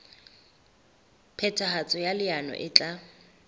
phethahatso ya leano e tla